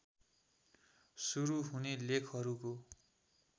सुरू हुने लेखहरूको